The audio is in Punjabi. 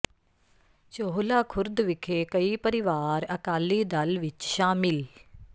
ਚੋਹਲਾ ਖ਼ੁਰਦ ਵਿਖੇ ਕਈ ਪਰਿਵਾਰ ਅਕਾਲੀ ਦਲ ਵਿਚ ਸ਼ਾਮਿਲ